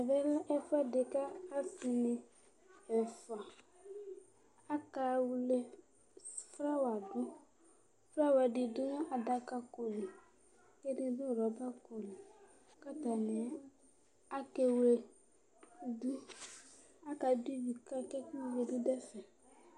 Ɛvɛlɛ ɛfʋɛdi kʋ ɔsini ɛfʋa akewle flawa dʋ flawa ɛ ɛdidʋ adaka koli kʋ ɛdidʋ rɔba koli kʋ atani akɛwledʋ kʋ adʋ ivi ka kʋ etivɛ bi dʋ ɛfɛ